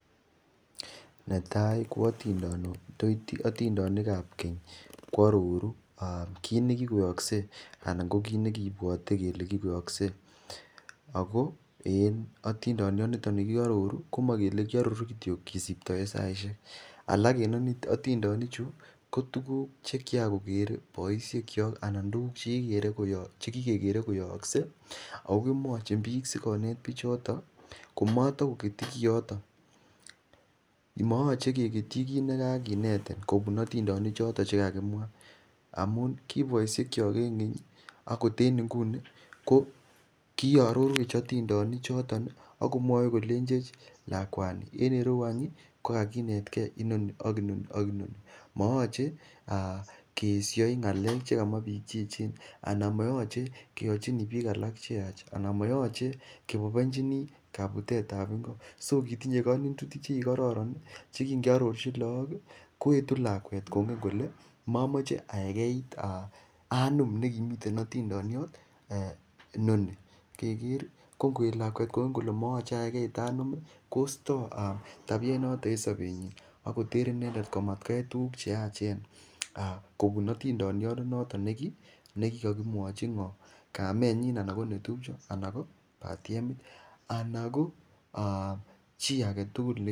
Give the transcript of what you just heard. Netai ko atindonik ap keny koaroru kit nekikoyookse anan ko kiit nekiipwote kele kikoyookse ako en otindion nito nekiaroru komakele kiaroru kityo kesiptoe saishek alak en otindonichu ko tukuk che kikakoker poishek chok anan tukuuk chekikekere koyookse ako komwochin piik sikonet Pichoto komatokoketchi koyoto mayachei keketchi kiit nekikakenetin kopun otindonik choto chekakimwa amun ki poishek cho ing' keny koten nguni ko kiarorwech atindonik choton akomwowech kolenjech lakwani en rieu anyun kokakinetkei inoni ak inoni ak inoni maache keeshoi ng'alek chekamwa piik cheechen anan mayachei keyochini piik alak cheyach anan mayachei kepoipichini kaputet ap ingo so kotinye kainutik cheki chekikororon cheki ngearorchi laak koetu lakwet kongen kole mamachei akerkeit ak anom nekimiten otindoniot noni keker ko ngoet lakwet kole mamachei akerkeit ak anom koterei tabiet noton en sobetnyi another inendet amatkoyai tukuk cheachen kopun otindonionoto nukikakimwachin kamenyi anan ko netupcho anan ko patiemit anan ko chii age tukul